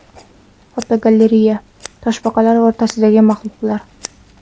Fotogalereya: Toshbaqalar orasidagi maxluqlar .